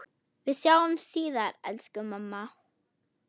Við sjáumst síðar, elsku amma.